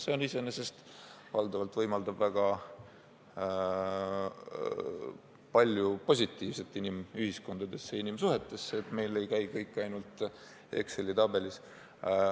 See iseenesest võimaldab tuua väga palju positiivset inimühiskondadesse, inimsuhetesse – see, et meil ei käi kõik ainult Exceli tabeli järgi.